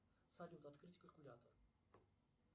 салют открыть калькулятор